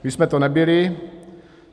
My jsme to nebyli.